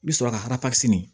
I bi sɔrɔ ka di